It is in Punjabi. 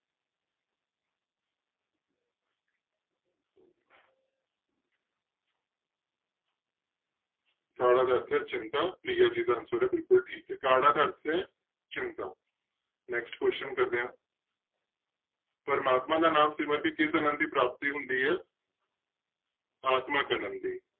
ਕਾੜਾ ਦਾ ਅਰਥ ਹੈ ਚਿੰਤਾ ਪ੍ਰਿਆ ਜੀ ਦਾ answer ਬਿਲਕੁਲ ਠੀਕ ਹੈ ਕਾੜਾ ਦਾ ਅਰਥ ਹੈ ਚਿੰਤਾ next question ਕਰਦੇ ਹਾਂ ਪ੍ਰਮਾਤਮਾ ਦਾ ਨਾਮ ਸਿਮਰ ਕੇ ਕਿਸ ਆਨੰਦ ਦੀ ਪ੍ਰਾਪਤੀ ਹੁੰਦੀ ਹੈ ਆਤਮਿਕ ਆਨੰਦ ਦੀ।